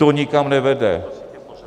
To nikam nevede.